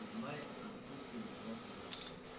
зная о самочувствии моего сына